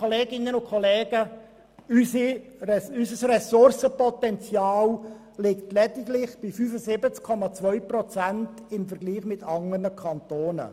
Dabei liegt unser Ressourcenpotenzial im Vergleich zu anderen Kantonen lediglich bei 75,2 Prozent.